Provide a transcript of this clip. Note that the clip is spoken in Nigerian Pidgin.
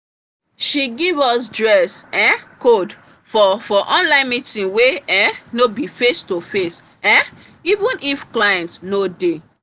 she give us dress um code for for online meeting wey um no be face to face um even if clients no dey